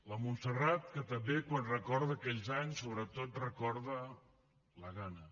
la montserrat que també quan recorda aquells anys sobretot recorda la gana